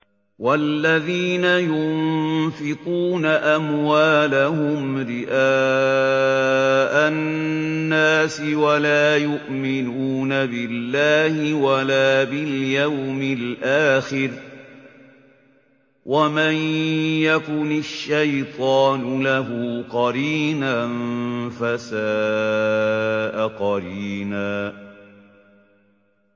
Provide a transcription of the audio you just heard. وَالَّذِينَ يُنفِقُونَ أَمْوَالَهُمْ رِئَاءَ النَّاسِ وَلَا يُؤْمِنُونَ بِاللَّهِ وَلَا بِالْيَوْمِ الْآخِرِ ۗ وَمَن يَكُنِ الشَّيْطَانُ لَهُ قَرِينًا فَسَاءَ قَرِينًا